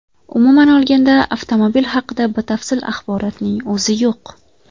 Umuman olganda, avtomobil haqida batafsil axborotning o‘zi yo‘q.